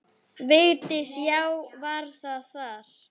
Vigdís: Já, var það þar.